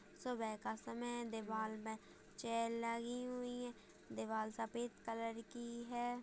सुबह का समय है दीवाल में चेयर लगी हुई है दीवाल सफेद कलर की है।